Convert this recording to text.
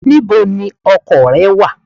Where is your car?